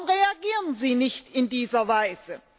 Warum reagieren Sie nicht in dieser Weise?